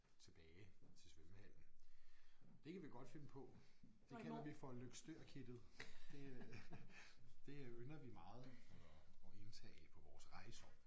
Tilbage til svømmehallen det kan vi godt finde på det kalder vi for Løgstør kittet det øh det ynder vi meget at at indtage på vores rejser